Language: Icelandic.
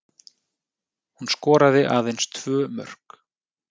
Hún skoraði aðeins tvö mörk